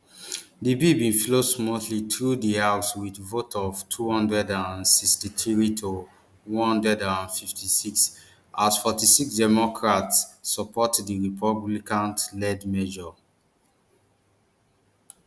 di bill bin flow smoothly through di house wit vote of two hundred and sixty-three to one hundred and fifty-six as forty-six democrats support di republican led measure